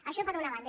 això per una banda